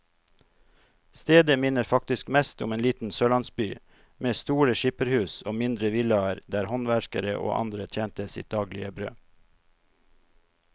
Stedet minner faktisk mest om en liten sørlandsby, med store skipperhus og mindre villaer der håndverkere og andre tjente sitt daglige brød.